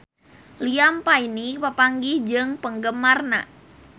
Liam Payne papanggih jeung penggemarna